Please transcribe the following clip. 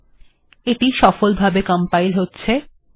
ঠিকআছে এটি সফলভাবে কম্পাইল্ হয়ে গেছে